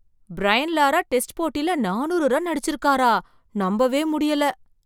Brain Lara test போட்டில நானூறு run அடிச்சிருக்காரா, நம்பவே முடியல!